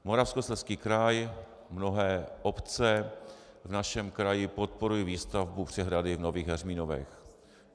Moravskoslezský kraj, mnohé obce v našem kraji, podporují výstavbu přehrady v Nových Heřminovech.